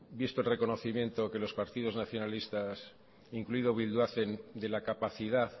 visto el reconocimiento que los partidos nacionalistas incluido bildu hacen de la capacidad